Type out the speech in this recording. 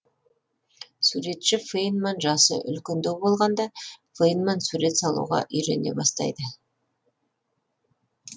суретші фейнман жасы үлкендеу болғанда фейнман сурет салуға үйрене бастайды